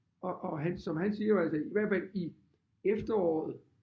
Og og han som han siger jo altså i hvert fald i efteråret